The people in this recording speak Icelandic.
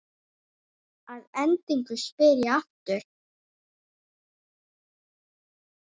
Að endingu spyr ég aftur.